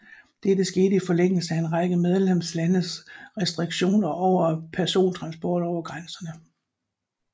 Dette skete i forlængelse af en række medlemslandes restriktioner overfor persontransport over grænserne